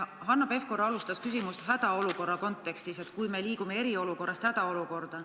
Hanno Pevkur alustas küsimust hädaolukorra kontekstis, et kui me liigume eriolukorrast hädaolukorda.